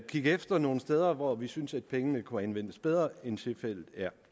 kigge efter nogle steder hvor vi synes at pengene kunne anvendes bedre end tilfældet er